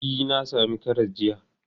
E, na sami karas jiya.